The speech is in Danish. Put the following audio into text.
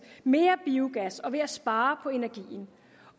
mere biogas og ved at spare på energien